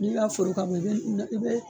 N y'i ka foli kan mɛ i be i be